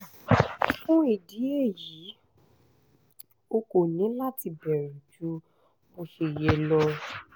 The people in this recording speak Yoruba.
fún ìdí èyí o kò ní láti bẹ̀rù ju bó ṣe yẹ lọ